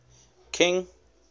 king